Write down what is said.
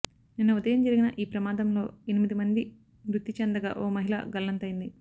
నిన్న ఉదయం జరిగిన ఈ ప్రమాదంలో ఎనిమిది మంది మృతి చెందగా ఓ మహిళ గల్లంతైంది